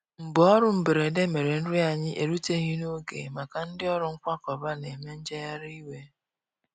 Mgbaọrụ mgberede mere nri anyi eruteghi n'oge maka ndi ọrụ nkwakọba n'eme njeghari iwe.